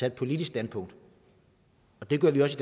et politisk standpunkt det gør vi også